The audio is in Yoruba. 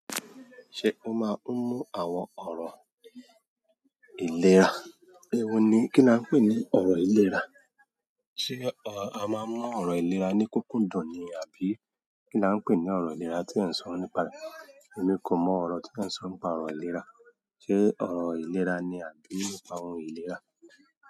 Ṣé o máa ń mú àwọn ọ̀rọ̀ ìlera? Ewo ni kíni á n pè ní ọ̀rọ̀ ìlera? Ṣé a máa ń mú ọ̀rọ̀ ìlera ní kúkúndùn ni àbí kí ni a n pè ní ọ̀rọ̀ ìlera tí e ń sọ nípa rẹ̀? Èmi kò mọ ọ̀rọ̀ tí e ń sọ nípa ọ̀rọ̀ ìlera. Ṣé ọ̀rọ̀ ìlera ni àbí nípa ohuy ìlera?